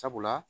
Sabula